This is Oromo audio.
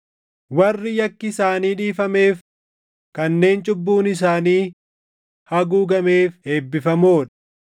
“Warri yakki isaanii dhiifameef, kanneen cubbuun isaanii haguugameef eebbifamoo dha.